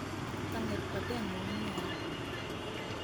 Kanget batet nguk nia